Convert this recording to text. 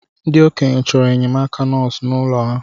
Ndi ̣okenye choro enyemaka nosu n’ụlọ ha